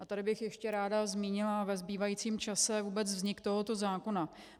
A tady bych ještě ráda zmínila ve zbývajícím čase vůbec vznik tohoto zákona.